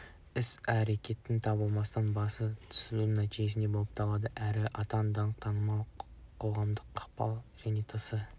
іс-әрекеттің табыстылығы басым түсудің нәтижесі болып табылады әрі атақ данқ танымал қоғамдық ықпал және тсс